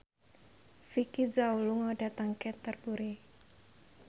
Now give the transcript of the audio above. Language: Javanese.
Vicki Zao lunga dhateng Canterbury